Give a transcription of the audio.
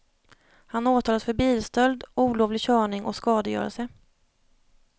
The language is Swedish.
Han åtalas för bilstöld, olovlig körning och skadegörelse.